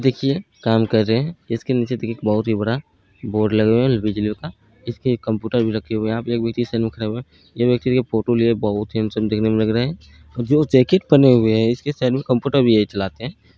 देखिए काम कर रहे हैं इसके नीचे देखिए बहुत बड़ा बोर्ड लगे हुए हैं बिजलियों का इसके कंप्यूटर भी रखा है ये व्यक्ति देखिए बहुत हेडसम देखने मे लग रहा है जो जैकेट पहने हुए है कंप्यूटर भी वही चलाते हैं।